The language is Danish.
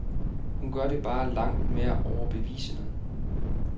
Hun gør det bare langt mere overbevisende.